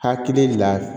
Hakili de la